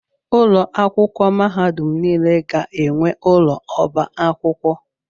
Ụlọ akwụkwọ mahadum niile ga-enwe ụlọ ọba akwụkwọ.